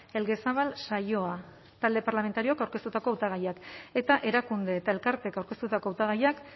elgezabal saioa talde parlamentarioak aurkeztutako hautagaiak eta erakunde eta elkarteek aurkeztutako hautagaiak